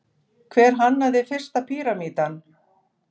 hver hannaði fyrsta píramídann